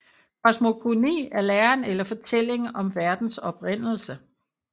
Kosmogoni er læren eller fortællingen om verdens oprindelse